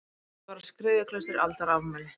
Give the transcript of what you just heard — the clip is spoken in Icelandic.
Fornleifar á Skriðuklaustri Aldarafmæli.